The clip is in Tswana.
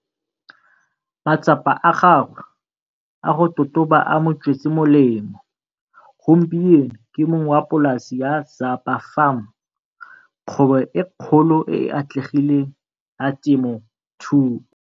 Matsapa a gagwe a go totoba a mo tswetse molemo, gompieno ke mong wa polasi ya Zapa Farm, kgwebo e kgolo e e atlegileng ya temothuo.